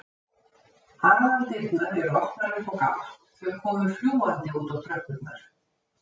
Aðaldyrnar eru opnar upp á gátt, þau koma fljúgandi út á tröppurnar.